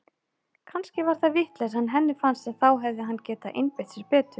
Kannski var það vitleysa en henni fannst að þá hefði hann getað einbeitt sér betur.